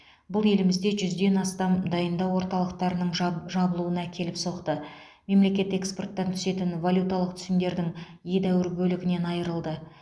бұл елімізде жүзден астам дайындау орталықтарының жаб жабылуына әкеліп соқты мемлекет экспорттан түсетін валюталық түсімдердің едәуір бөлігінен айырылды